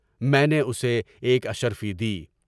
میں نے اسے ایک اشرفی دی۔